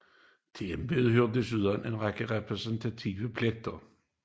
Til embedet hører desuden en række repræsentative pligter